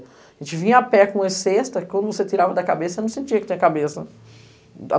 A gente vinha a pé com uma cesta, que quando você tirava da cabeça, não sentia que tinha cabeça.